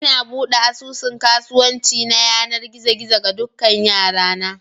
Ina buɗe asusun kasuwanci na yanar gizo gizo ga dukan 'yara na